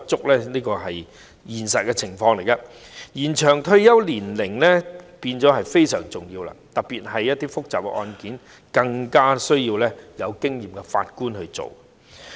因此，延展法官及司法人員的退休年齡是非常重要的，特別是一些複雜的案件，更需要由有經驗的法官來審理。